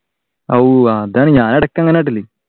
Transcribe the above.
ഞാൻ ഇടക്ക് അങ്ങനെ